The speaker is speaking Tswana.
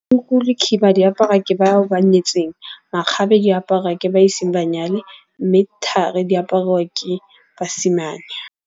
Tuku le khiba di aparwa ke bao ba nyetseng. Makgabe di aparwa ke ba iseng ba nyale. Mme thari di apariwa ke basimane.